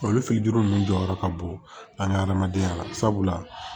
Olu fitinin nunnu jɔyɔrɔ ka bon an ka hadamadenya la sabula